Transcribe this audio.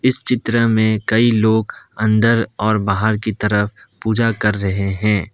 इस चित्र में कई लोग अंदर और बाहर की तरफ़ पूजा कर रहे हैं।